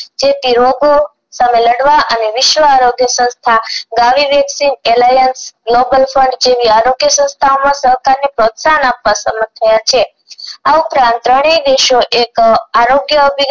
જેથી રોગો સામે લડવા અને વિશ્વ આરોગ્ય સંસ્થા આરોગ્ય સંસ્થા માં સહકાર ને પ્રોત્સાહન આપવા સમર્થ થયા છે આ ઉપરાંત ત્રણેય દેશો એક આરોગ્ય